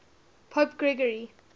pope gregory